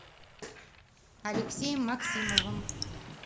алексеем максимовым